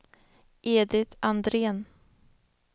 Edit Andrén